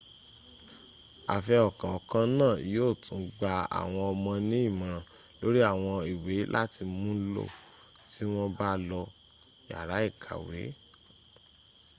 àfihàn kọ̀ọ̀kan náà yíò tún gba àwọn ọmọ ní ìmòràn lórí àwọn ìwé láti múlò tí wọn bá lọ sí yàrá ìkàwẹ́